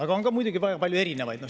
Aga on ka muidugi palju teistsuguseid.